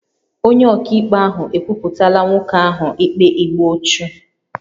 Onye ọkaikpe ahụ ekwupụtala nwoke ahụ ikpe igbu ọchụ